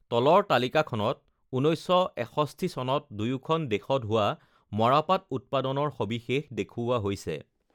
তলৰ তালিকাখনত ১৯৬১ চনত দুয়োখন দেশত হোৱা মৰাপাট উৎপাদনৰ সবিশেষ দেখুওৱা হৈছে: